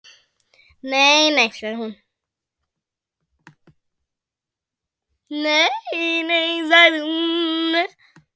Nei, nei sagði hún.